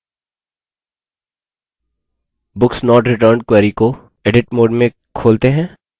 books not returned query को edit mode में खोलते हैं